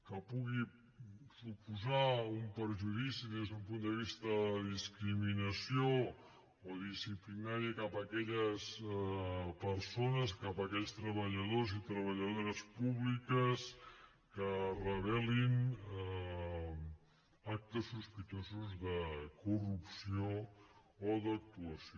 que pugui suposar un perjudici des d’un punt de vista de discriminació o disciplinari cap a aquelles persones cap a aquells treballadors i treballadores públics que revelin actes sospitosos de corrupció o d’actuació